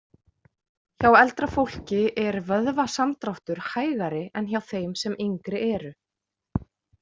Hjá eldra fólki er vöðvasamdráttur hægari en hjá þeim sem yngri eru.